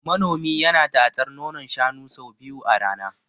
Manomi yana tatsar nonon shanun sau biyu a rana.